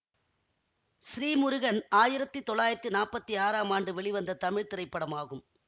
ஸ்ரீ முருகன் ஆயிரத்தி தொள்ளாயிரத்தி நாற்பத்தி ஆறாம் ஆண்டு வெளிவந்த தமிழ் திரைப்படமாகும்